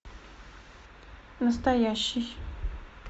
настоящий